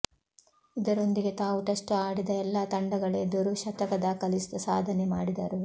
ಇದರೊಂದಿಗೆ ತಾವು ಟೆಸ್ಟ್ ಆಡಿದ ಎಲ್ಲಾ ತಂಡಗಳೆದುರು ಶತಕ ದಾಖಲಿಸಿದ ಸಾಧನೆ ಮಾಡಿದರು